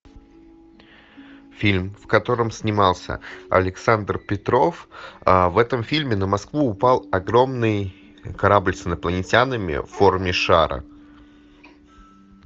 фильм в котором снимался александр петров в этом фильме на москву упал огромный корабль с инопланетянами в форме шара